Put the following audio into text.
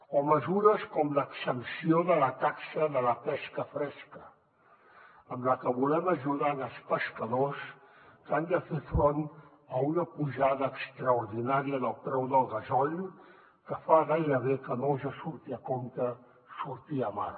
o mesures com l’exempció de la taxa de la pesca fresca amb la que volem ajudar els pescadors que han de fer front a una pujada extraordinària del preu del gasoil que fa gairebé que no els hi surti a compte sortir a mar